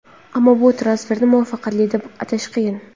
Ammo bu transferni muvaffaqiyatli deb atash qiyin.